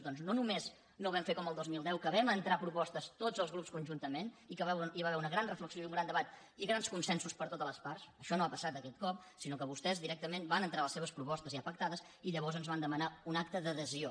doncs no no·més no ho vam fer com el dos mil deu que vam entrar pro·postes tots els grups conjuntament i que hi va haver una gran reflexió i un gran debat i grans consensos per totes les parts això no ha passat aquest cop si·nó que vostès directament van entrar les seves pro·postes ja pactades i llavors ens van demanar un acte d’adhesió